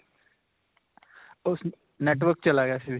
ਓਹ network ਚਲਾ ਗਿਆ ਸੀ ਵਿੱਚ.